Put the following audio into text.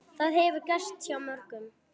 Það hefur gerst hjá mörgum.